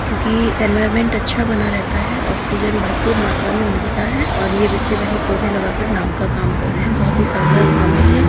क्योंकि इनवायर्नमेंट अच्छा बना रहता है ऑक्सीजन भरपूर मात्रा में मिलता है और ये बच्चे वही पौधे लगाकर नाम का काम कर रहे हैं बहुत ही शानदार काम है ये।